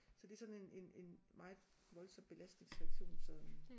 Så det er sådan en en en meget voldsom belastningsreaktion som